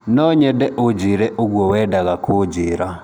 Nonyende ũnjire ũguo wendaga kũnjira.